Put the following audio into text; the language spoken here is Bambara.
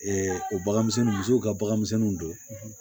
o bagan misɛnnin musow ka baganmisɛnninw don